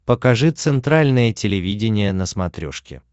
покажи центральное телевидение на смотрешке